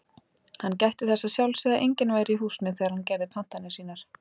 Hann gætti þess að sjálfsögðu að enginn væri í húsinu þegar hann gerði pantanir sínar.